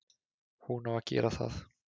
Hún á að gera það.